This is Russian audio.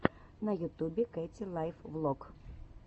на ютубе кэти лайф влог